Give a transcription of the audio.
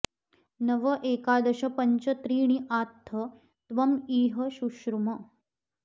नव एकादश पञ्च त्रीणि आत्थ त्वम् इह शुश्रुम